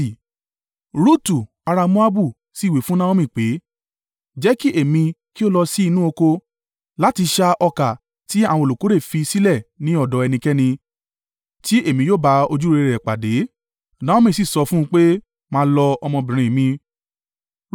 Rutu ará Moabu sì wí fún Naomi pé, “Jẹ́ kí èmi kí ó lọ sí inú oko láti ṣá ọkà tí àwọn olùkórè fi sílẹ̀ ní ọ̀dọ̀ ẹnikẹ́ni tí èmi yóò bá ojúrere rẹ̀ pàdé.” Naomi sì sọ fún un pé, “Máa lọ, ọmọbìnrin mi.”